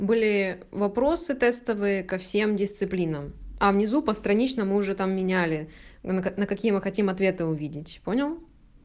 были вопросы тестовые ко всем дисциплинам а внизу постранично мы уже там меняли на какие мы хотим ответы увидеть понял